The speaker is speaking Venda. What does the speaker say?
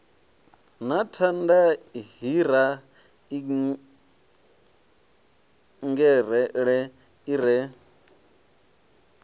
na thanda hiraingele i re